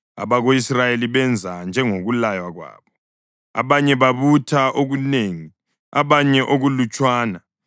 Abako-Israyeli benza njengokulaywa kwabo. Abanye babutha okunengi abanye okulutshwana.